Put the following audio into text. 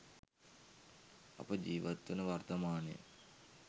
අප ජීවත් වන වර්තමානය